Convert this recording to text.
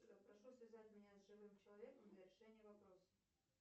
прошу связать меня с живым человеком для решения вопроса